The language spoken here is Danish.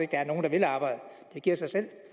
gerne vil arbejde det giver sig selv